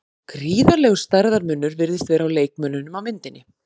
Gríðarlegur stærðarmunur virðist vera á leikmönnunum á myndinni.